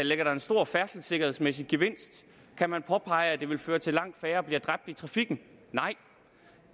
ligger der en stor færdselssikkerhedsmæssig gevinst kan man påpege at det vil føre til at langt færre bliver dræbt i trafikken nej